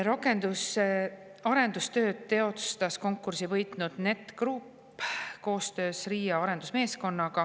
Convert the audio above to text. Rakenduse arendustöid teostas konkursi võitnud Net Group koostöös RIA arendusmeeskonnaga.